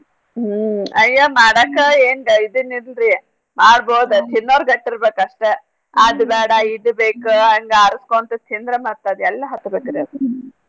ಹ್ಮ್ ಅಯ್ಯೋ ಮಾಡಕ ಎನ್ ಗ~ ಇದನ್ ಇಲ್ರೀ ಮಾಡ್ಬೋದ ತಿನ್ನೋರ್ ಗಟ್ ಇರ್ಬೇಕ್ ಅಷ್ಟ ಅದ್ ಬ್ಯಾಡ ಇದ ಬೇಕ ಹಂಗ್ ಆರಸ್ಕೊಂತ್ ತಿಂದ್ರ ಮತ್ ಅದೆಲ್ ಹತ್ಬೇಕ್ರೀ ಅದ.